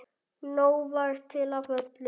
Nóg var til af öllu.